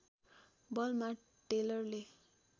बलमा टेलरले